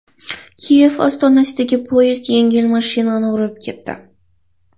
Kiyev ostonasida poyezd yengil mashinani urib ketdi.